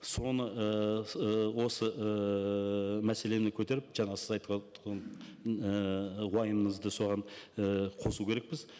соны ыыы осы ыыы мәселені көтеріп жаңа сіз уайымыңызды соған і қосу керекпіз